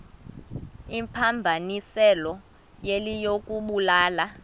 imphambanisileyo yile yokubulala